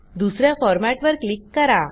दुस या फॉरमॅटवर क्लिक करा